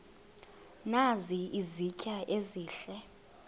nazi izitya ezihle